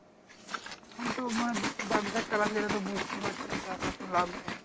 আমিতো মানে ব্যাবসা চালাতে গেলে তো বুঝতেই পারছিস টাকা তো লাগবেই।